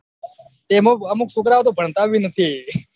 તો એમાં અમુક છોકરા ભણતા ભી નથી